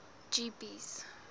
jeepies